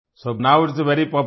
so now it's very popular